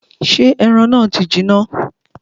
Ṣé ẹran náà ti jiná?